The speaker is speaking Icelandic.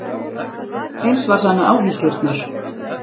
Eins var það með áhyggjurnar.